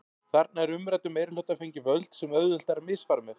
Þarna er umræddum meirihluta fengin völd sem auðvelt er að misfara með.